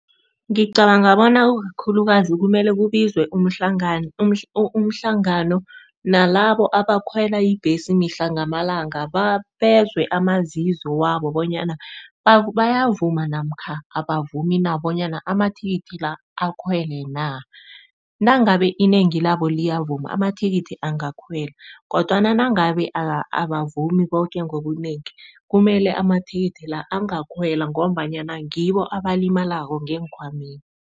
Ngicabanga bona ikukhulukazi kumele kubizwe umhlangano nalabo abakhwela ibhesi mihla namalanga, bezwe amazizo wabo bonyana, bayavuma namkha abavumi na bonyana bona ama-ticket la akhwele na? Nangabe inengi labo liyavuma ama-ticket angakhwela kodwana nangabe abavumi koke ngobunengi kumele ama-ticket la angakhwela ngombanyana ngibo abalimako ngenkhwameni.